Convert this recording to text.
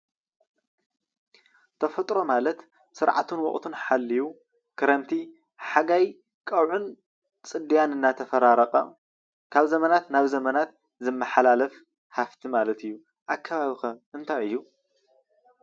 ተፈጥሮ ማለት ስርዓቱን ወቅቱን ሓሊዩ ክረምቲ፣ ሓጋይ፣ ቀውዒን ፅድያን እንዳተፈራረቀ ካብ ዘመናት ናብ ዘመናት ዝመሓላፍ ሃፍቲ ማለት እዩ፡፡ ኣከባቢ ከ እንታይ እዩ?